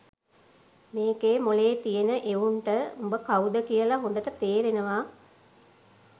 මේකේ මොලේ තියෙන එවුන්ට උඹ කව්ද කියල හොඳට තේරෙනවා